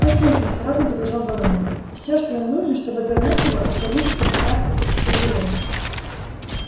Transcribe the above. послушай осторожно продолжал донован всё что нам нужно чтобы отогнать его это повысить концентрацию окиси углерода